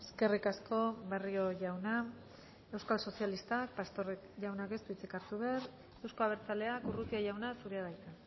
eskerrik asko barrio jauna euskal sozialistak pastor jaunak ez du hitzik hartu behar euzko abertzaleak urrutia jauna zurea da hitza